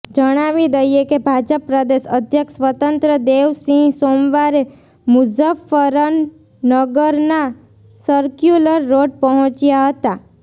જણાવી દઈએ કે ભાજપ પ્રદેશ અધ્યક્ષ સ્વતંત્ર દેવ સિંહ સોમવારે મુઝફ્ફરનગરના સર્ક્યુલર રોડ પહોંચ્યા હતા